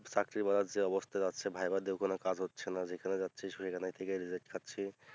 চাকরি পাওয়ার যে অবস্থা যাচ্ছে ভাইবা দিয়েও কোনো কাজ হচ্ছে না যেখানে যাচ্ছি শুধু এখানেই ঠেকে থাকছি